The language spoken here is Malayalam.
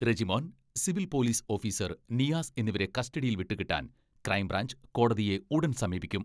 Rejimon, civil police officer Niyas എന്നിവരെ കസ്റ്റഡിയിൽ വിട്ടുകിട്ടാൻ ക്രൈം ബ്രാഞ്ച് കോടതിയെ ഉടൻ സമീപിക്കും.